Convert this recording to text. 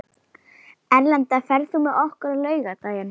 Erlinda, ferð þú með okkur á laugardaginn?